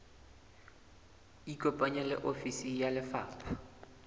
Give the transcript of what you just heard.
ikopanye le ofisi ya lefapha